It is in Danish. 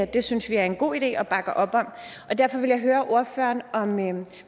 det synes vi er en god idé og bakker op om og derfor ville jeg høre ordføreren om